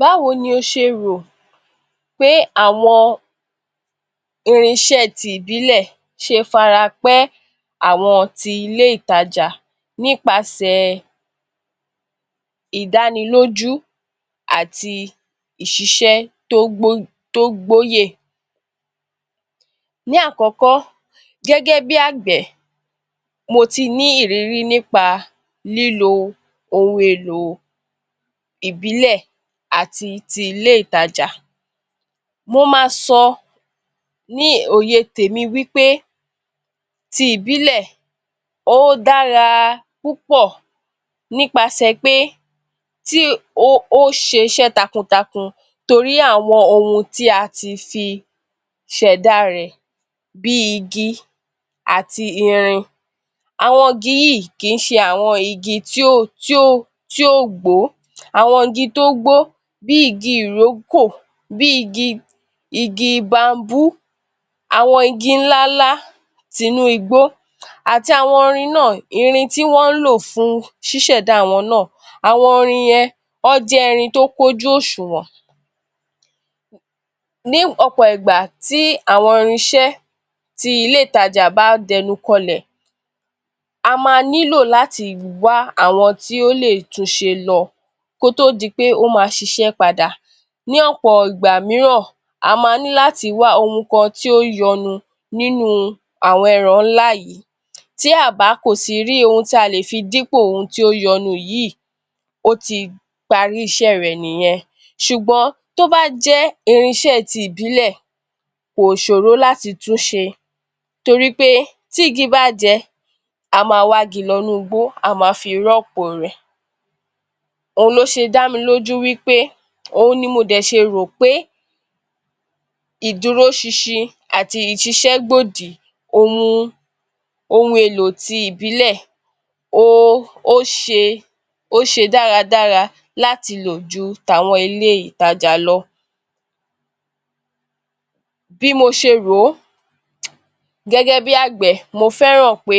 Báwo ni ó ṣe rò pé àwọn irínṣẹ́ tí ìbílẹ̀ ṣe farapẹ́ àwọn tí ilé ìtajà nípasẹ̀ ìdánilójú àti ìṣíṣẹ́ tó gbóyè? Ní àkọ́kọ́, gẹ́gẹ́ bí agbẹ̀ mo ti ní ìrírí nípa lílo ohun èlò ìbílẹ̀ àti ti ilé ìtajà. Mó máa sọ ní òye tèmi wí pé, tí ìbílẹ̀ ó dára púpọ̀ nípasẹ̀ pé tí ó ṣe iṣẹ́ takuntakun torí àwọn ohun tí a tí fi ṣẹ̀dá rẹ bí igi, àti irin. Àwọn igi yìí kì í ṣe àwọn igi tí ó gbó, àwọn igi tí ó gbó bí igi ìrókò, bí igi, igi bambú, àwọn igi ńláńlá tinú igbó àti àwọn irin náà tí wọn ń lo fún ṣísẹ̀dá àwọn náà, àwọn irin yẹn wọn jẹ́ irin tí ó kún ojú òṣùwọ̀n.. Ní ọ̀pọ̀ ìgbà tí àwọn irínṣẹ́ tí ilé ìtajà bá a dẹnu kànlẹ̀̀, a máa nílò láti wá àwọn tí ó lè tún ṣé lọ, kí ó tó di pé ó máa ṣiṣẹ́ padà, ní ọ̀pọ̀ ìgbà mìíràn, a máa ní láti wà ohun gan tí yọnu nínú àwọn ẹ̀rọ ńlá yìí tí a kò sí bá rí ohun tí a lè fi dípò àwọn ohun tí ó yọnu yìí, ó ti parí iṣẹ́ rẹ nìyẹn. Ṣùgbọ́n tí ó bá jẹ́ irínṣẹ́ tí ìbílẹ̀ kò ṣòro láti túnṣe torí pé tí igi bá a jẹ, a máa wà igi lọ inú igbó, a máa fi rọ́pò rẹ, ohun lo ṣe dá mi lójú wí pé, ohun ni mo dẹ̀ ṣe rò pé ìdúróṣinṣin àti ìṣíṣẹ́ gbòdì ohun èlò tí ìbílẹ̀ ó ṣe, ó ṣe dáradára láti lo jù tí àwọn ilé ìtajà lọ. Bí mo ṣe rò, gẹ́gẹ́ bí agbẹ̀, mo fẹ́ràn pé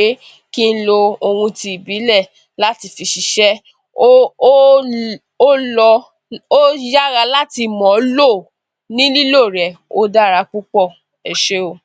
kí ló ohun tí ìbílẹ̀ láti fi ṣiṣẹ́, ó lọ, ó yára láti mọ̀ ń lò, ní lílo rẹ ó dára púpọ̀, Ẹ ṣe óò.